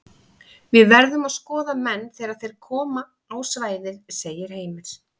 Við verðum að skoða menn þegar þeir koma á svæðið segir Heimir.